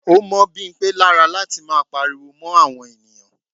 Ó mọ́ Bimpe lára láti máa pariwo mó àwọn ènìyàn.